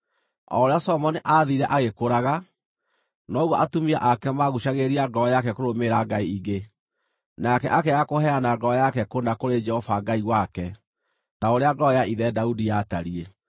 O ũrĩa Solomoni aathiire agĩkũraga, noguo atumia ake maaguucagĩrĩria ngoro yake kũrũmĩrĩra ngai ingĩ, nake akĩaga kũheana ngoro yake kũna kũrĩ Jehova Ngai wake, ta ũrĩa ngoro ya ithe Daudi yatariĩ.